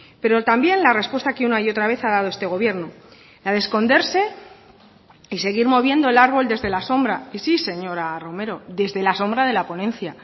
pero también la respuesta que una y otra vez ha dado este gobierno la de esconderse y seguir moviendo el árbol desde la sombra y sí señora romero desde la sombra de la ponencia